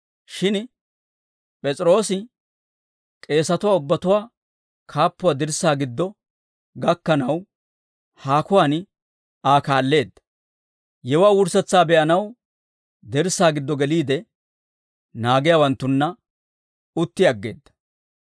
Shin P'es'iroosi k'eesatuwaa ubbatuwaa kaappuwaa dirssaa giddo gakkanaw, haakuwaan Aa kaalleedda; yewuwaa wurssetsaa be'anaw dirssaa giddo geliide, naagiyaawanttunna utti aggeedda.